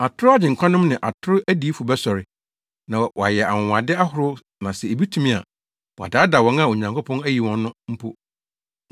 Atoro agyenkwanom ne atoro adiyifo bɛsɔre, na wɔayɛ anwonwade ahorow na sɛ ebetumi a, wɔadaadaa wɔn a Onyankopɔn ayi wɔn no mpo.